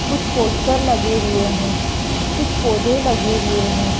कुछ पोस्टर लगे हुए हैं कुछ पौधे लगे हुए हैं।